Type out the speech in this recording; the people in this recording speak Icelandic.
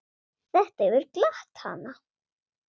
Þetta hefur glatt hana.